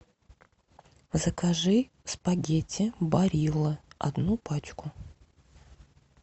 закажи спагетти барилла одну пачку